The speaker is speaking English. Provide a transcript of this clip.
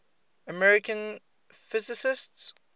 american physicists